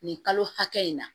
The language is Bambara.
Nin kalo hakɛ in na